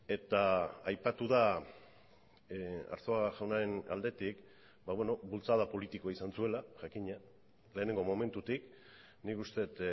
eta aipatu da arzuaga jaunaren aldetik bultzada politikoa izan zuela jakina lehenengo momentutik nik uste dut